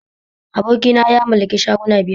Abokina ya mallaki shuguna biyar